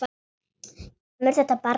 Kemur þetta barn ekkert við.